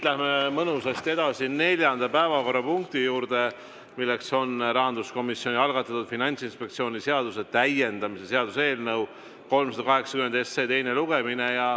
Läheme siit mõnusasti edasi neljanda päevakorrapunkti juurde, milleks on rahanduskomisjoni algatatud Finantsinspektsiooni seaduse täiendamise seaduse eelnõu 380 teine lugemine.